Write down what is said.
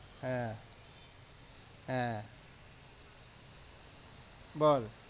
হ্যাঁ হ্যাঁ বল।